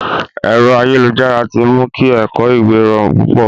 Ẹ̀rọ ayélujára ti mu kí ẹ̀kọ̀ ìwé rọrùn púpọ̀.